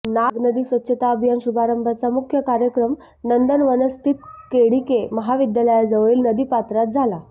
नाग नदी स्वच्छता अभियान शुभारंभाचा मुख्य कार्यक्रम नंदनवनस्थित केडीके महाविद्यालयाजवळील नदी पात्रात झाला